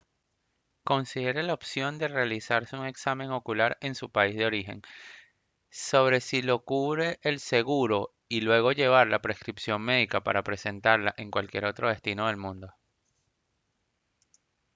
considere la opción de realizarse un examen ocular en su país de origen sobre si lo cubre el seguro y luego llevar la prescripción médica para presentarla en cualquier otro destino del mundo